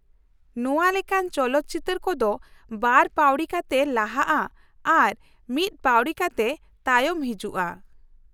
ᱱᱚᱶᱟ ᱞᱮᱠᱟᱱ ᱪᱚᱞᱚᱛ ᱪᱤᱛᱟᱹᱨ ᱠᱚᱫᱚ ᱵᱟᱨ ᱯᱟᱹᱣᱲᱤ ᱠᱟᱛᱮ ᱞᱟᱦᱟᱜᱼᱟ ᱟᱨ ᱢᱤᱫ ᱯᱟᱹᱣᱲᱤ ᱠᱟᱛᱮ ᱛᱟᱭᱚᱢ ᱦᱤᱡᱩᱜᱼᱟ ᱾